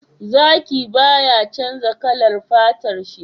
Zaki baya canja kalar fatar shi